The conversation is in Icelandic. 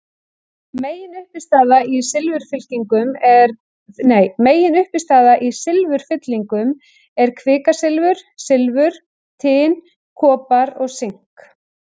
Meginuppistaða í silfurfyllingum er kvikasilfur, silfur, tin, kopar og sink.